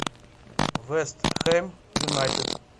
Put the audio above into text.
вест хэм юнайтед